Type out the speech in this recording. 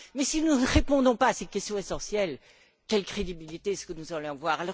Mais si nous ne répondons pas à cette question essentielle, quelle crédibilité est ce que nous allons avoir?